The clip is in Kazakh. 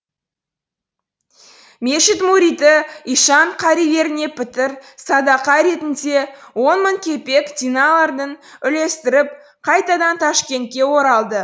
мешіт мұриті ишан карилеріне пітір садақа ретінде он мың кепек динарларын үлестіріп қайтадан ташкентке оралды